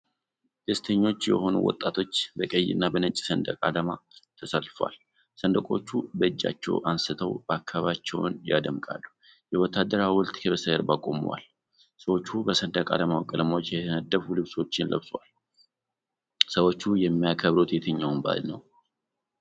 ደስተኞች የሆኑ ወጣቶች በቀይ እና በነጭ ሰንደቅ አላማ ተሰልፈዋል። ሰንደቆቹ በእጃቸው አንስተው አከባቢያቸውን ያደምቃሉ። የወታደር ሐውልት ከበስተጀርባ ቆሟል። ሰዎቹ በሰንደቅ አላማው ቀለሞች የተነደፉ ልብሶችን ለብሰዋል። ሰዎቹ የሚያከብሩት የትኛውን በዓል ነው?